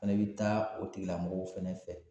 Fɛnɛ bi taa o tigilamɔgɔw fɛnɛ fɛ